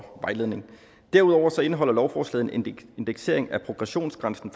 vejledning derudover indeholder lovforslaget en indeksering af progressionsgrænsen